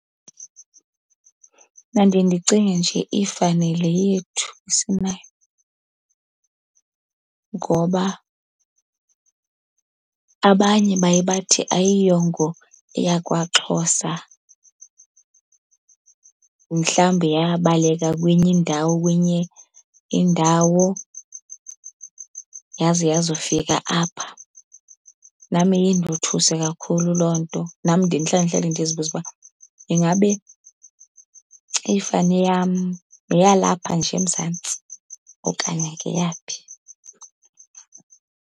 Mna ndiye ndicinge nje ifani le yethu esinayo ngoba abanye baye bathi ayiyongo eyakwaXhosa, mhlawumbi yabaleka kwenye indawo kwenye indawo yaze yazofika apha. Nam iye indothuse kakhulu loo nto. Nam ndiye ndihlale ndihlale ndizibuze uba ingabe ifani yam yeyalapha nje eMzantsi okanye ngeyaphi.